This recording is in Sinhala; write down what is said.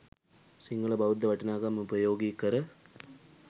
සිංහල බෞද්ධ වටිනාකම් උපයෝගි කර